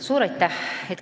Suur aitäh!